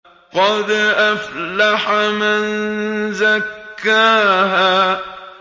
قَدْ أَفْلَحَ مَن زَكَّاهَا